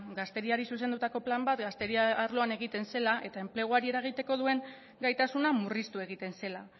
gazteriari zuzendutako plan bat gazteria arloan egiten zela eta enpleguari eragiteko duen gaitasuna murriztu egiten zela